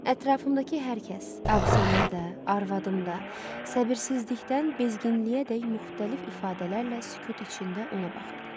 Ətrafımdakı hər kəs, auksyonda, arvadımda səbirsizlikdən bezginliyəədək müxtəlif ifadələrlə sükut içində ona baxırdı.